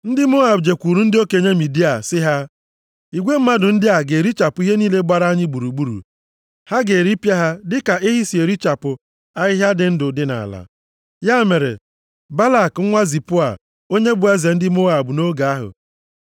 Ndị Moab jekwuru ndị okenye Midia sị ha, “Igwe mmadụ ndị a ga-erichapụ ihe niile gbara anyị gburugburu. Ha ga-eripịa ha dịka ehi si erichapụ ahịhịa ndụ dị nʼala.” Ya mere, Balak nwa Zipoa, onye bụ eze ndị Moab nʼoge ahụ,